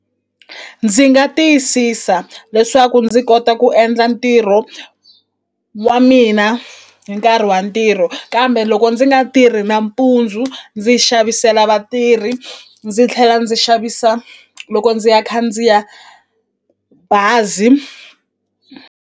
Ndzi nga tiyisisa leswaku ndzi kota ku endla ntirho wa mina hi nkarhi wa ntirho kambe loko ndzi nga tirhi nampundzu ndzi xavisela vatirhi ndzi tlhela ndzi xavisa loko ndzi ya khandziya bazi.